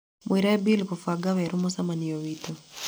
mwĩre bill kũbaga werũ mũcemanio witũ